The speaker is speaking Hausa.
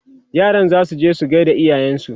yaran zasu je su gaida iyayensu